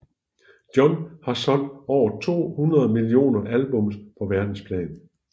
John har solgt over 200 millioner albums på verdensplan